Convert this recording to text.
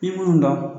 I mun dɔn